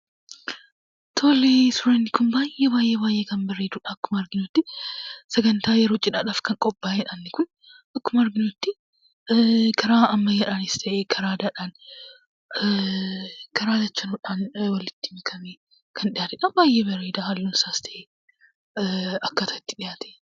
Tolee ,suuraan kun baay'ee baay'ee kan bareeduudha akkuma arginuttii. Sagantaa yeroo cidhaadhaaf kan qophaaheedha inni Kun akkuma arginutti. Karaa ammayyaadhaanis ta'ee karaa aadaadhaan karaa lachanuudhaan walitti makamee kan dhiyaateedha, halluunsaas ta'e akkaataan inni itti dhiyaate.